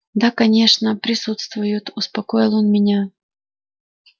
да конечно присутствуют успокоил он меня